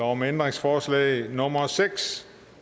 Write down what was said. om ændringsforslag nummer seks